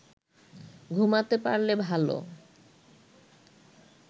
ঘুমাতে পারলে ভালো